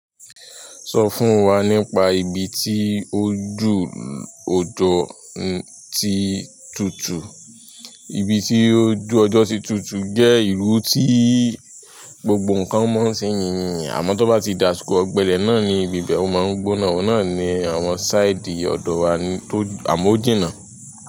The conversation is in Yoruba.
Sọ fún wa nípa ibi tí ojú ọjọ́ ti tutù. Ibi tí ojú ọjọ́ ti tutù jẹ́ ìlú tí gbogbo ǹkan mọ́ ṣe yìnyín, àmọ́ tó bá ti dàsìkò ọ̀gbẹlẹ̀ náà ni ibi bẹ́ o máa ń gbónà, ọ̀nà ni àwọn side ọ̀dọ̀ wa ni tó àmọ o jina.